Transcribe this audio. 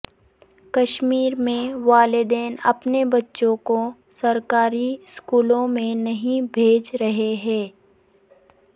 کشمیر میں والدین اپنے بچوں کو سرکاری سکولوں میں نہیں بھیج رہے ہیں